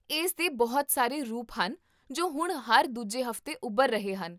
ਇਸ ਦੇ ਬਹੁਤ ਸਾਰੇ ਰੂਪ ਹਨ ਜੋ ਹੁਣ ਹਰ ਦੂਜੇ ਹਫ਼ਤੇ ਉਭਰ ਰਹੇ ਹਨ